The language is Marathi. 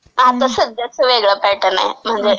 आता सध्याचा वेगळा पॅटर्न आहे.म्हणजे..